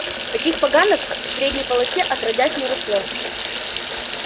таких поганок в средней полосе отродясь не росло